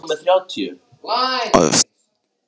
Engin truflun varð þó á flugum